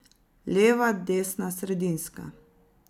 Leva, desna, sredinska.